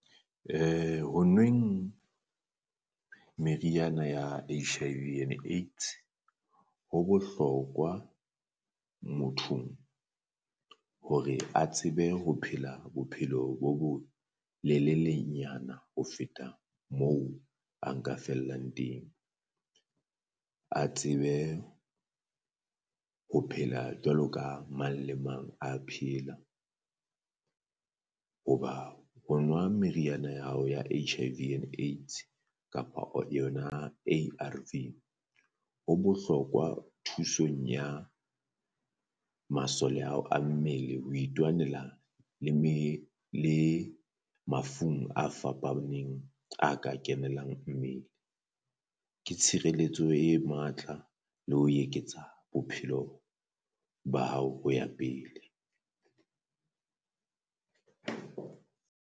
Ho nweng meriana ya H_I_V and AIDS ho bohlokwa mothong hore a tsebe ho phela bophelo bo bo lelele nyana ho feta moo a nka fellang teng, a tsebe ho phela jwalo ka mang le mang a phela hoba o nwa meriana ya hao ya H_I_V and AIDS kapa yona A_R_V. Ho bohlokwa thusong ya masole a hao a mmele ho itwanela le me le mafung a fapabaneng a ka kenelang mmele, ke tshireletso e matla le ho eketsa bophelo ba hao ho ya pele.